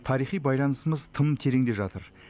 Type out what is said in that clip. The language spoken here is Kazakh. тарихи байланысымыз тым тереңде жатыр